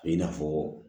I n'a fɔ